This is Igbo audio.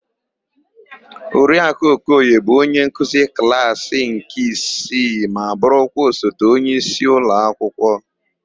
Oriakụ Okoye bụ onyenkuzi klaasỊ nke isii ma bụrụkwa osote onyeisi ụlọakwụkwọ.